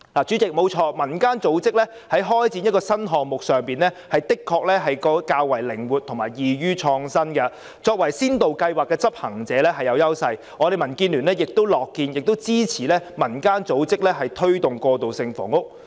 主席，要開展一個新項目，民間組織的確較為靈活及易於創新，作為先導計劃的執行者是有優勢，民建聯亦樂見和支持民間組織推動過渡性房屋。